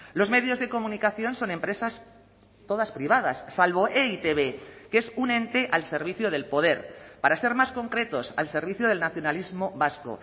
los medios de comunicación son empresas todas privadas salvo e i te be que es un ente al servicio del poder para ser más concretos al servicio del nacionalismo vasco